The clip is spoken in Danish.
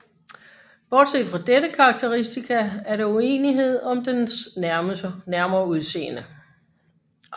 Bortset fra dette karakteristika er der uenighed om dens nærmere udseende